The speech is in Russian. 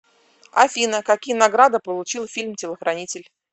афина какие награды получил фильм телохранитель